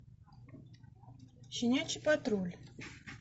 щенячий патруль